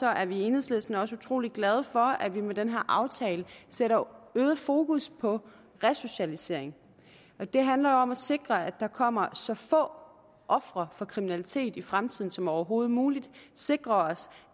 er vi i enhedslisten også utrolig glade for at vi med den her aftale sætter øget fokus på resocialisering det handler jo om at sikre at der kommer så få ofre for kriminalitet i fremtiden som overhovedet muligt sikre os